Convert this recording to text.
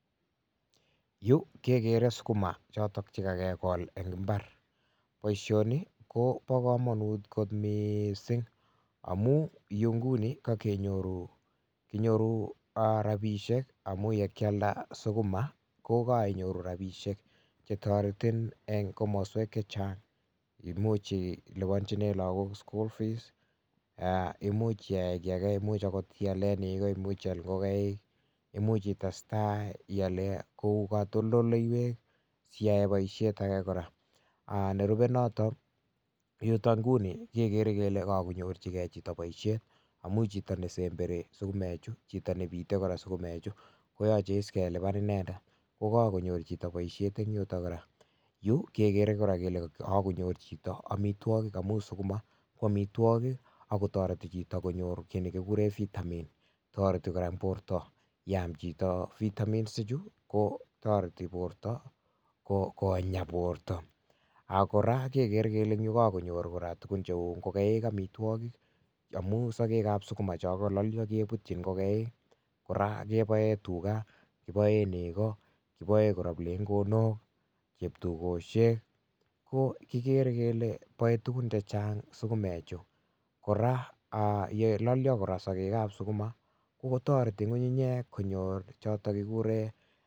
Yu kekere sukuma choto chekakekol eng imbar boisoni Kobo komonut kot mising amun yu nguni kakenyoru rapishek amun yekialda sukuma kokaiyoru rapishek chetoretin eng komoswek chechang much ilipanchinee lagok school fees imuch iyae kii age much akot ialee neko much ial ngokaik much itestai ialee katoldoleiwek siyaee boishet ake kora yuto nguni kekere kele kakonyorchigei chito boishet amun chito nesemberii sukumee chuu chito nebitei sukumee chu koyochei kelipan inendet ko kakonyor chito boishet eng yuto kora yu kekere kora kele kakonyor chito amitwokik amuu sukuma ko omitwokik ako toreti chito konyor kii nekile vitamin toreti kora borto, ndaam chito vitamins chu kotoreti borto konyaa borto ako kora kekere kele yu kokakonyor kora ngokaik amitwok amun sokek ab sukuma cho kalolyo kebutchin ngokaikkora keboee tuga kiboee neko kiboe kora kiplengwok cheptugoshik ko kikere kele boei tukun chechang sukumek kora yelolyo kora sokek ab sukuma kotoreti ngunginyek